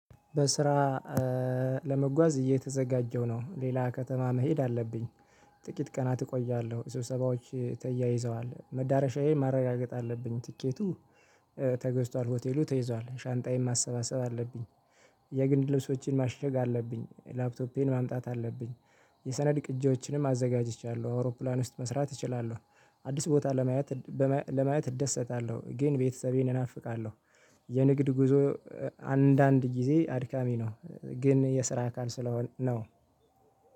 በስራ ለመጓዝ እየተዘጋጀው ነው ሌላ ከተማ መሄድ አለብኝ ጥቂት ቀናት እቆያለሁ። ሰብሰባዎች ተያይዘዋል መዳረሻዬ ማረጋገጥ አለብኝ ትኬቴ ተገዝቷል ሆቴሉ ተይዟል ሻንጣዬን ማሰባሰብ አለብኝ። የግድ ልብሶችን ማሽግ አለብኝ ላፕቶፔን ማምጣት አለብኝ። የሰነድ ቅጂዎችንም አዘጋጅቻለሁ አውሮፕላን ውስጥ መስራት እችላለሁ። አዲስ ቦታ ለማየት ለማየት እደሰታለሁ ግን ቤተሰቤን እናፍቃለሁ። የንግድ ጉዞ አንዳንድ ጊዜ አድካሚ ነው። ግን የስራ አካል ስለሆነ ነው።